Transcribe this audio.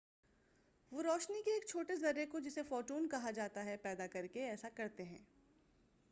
وہ روشنی کے ایک چھوٹے ذرے کو جسے"فوٹون کہا جاتا ہے، پیدا کر کے ایسا کرتے ہیں۔